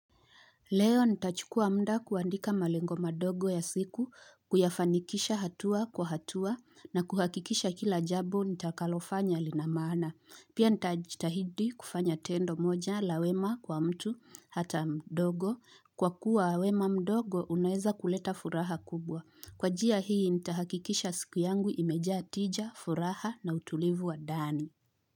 Leo nitachukua mda kuandika malengo madogo ya siku, kuyafanikisha hatua kwa hatua na kuhakikisha kila jambo nitakalofanya lina maana. Pia nitajitahidi kufanya tendo moja la wema kwa mtu hata mdogo kwa kuwa wema mdogo unaweza kuleta furaha kubwa. Kwa njia hii nitahakikisha siku yangu imejaa tija, furaha na utulivu wa ndani.